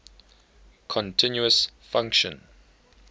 continuous function